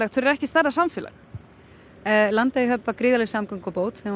fyrir ekki stærra samfélag Landeyjahöfn var gríðarlega samgöngubót þegar hún